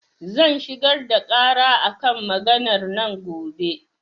Zan shigar da ƙara a kan maganar nan gobe.